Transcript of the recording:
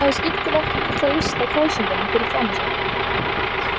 Hún hafði skyndilega ekki mikla lyst á kræsingunum fyrir framan sig.